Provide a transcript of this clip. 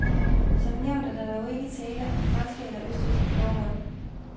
Som nævnt er der dog ikke tale om franske eller østrigske forhold.